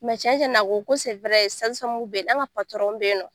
cɛn cɛn na a ko ko an ka bɛ ye nɔ.